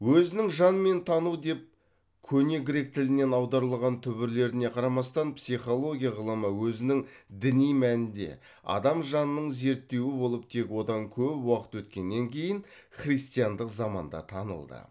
өзінің жан мен тану деп көне грек тілінен аударылған түбірлеріне қарамастан психология ғылымы өзінің діни мәнінде адам жанының зерттеуі болып тек одан көп уақыт өткеннен кейін христиандық заманда танылды